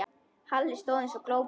Halli stóð eins og glópur.